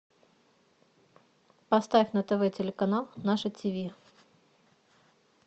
поставь на тв телеканал наше тиви